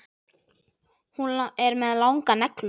Hún er með langar neglur.